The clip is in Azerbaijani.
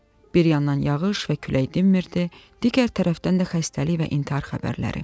Bir yandan yağış və külək dinmirdi, digər tərəfdən də xəstəlik və intihar xəbərləri.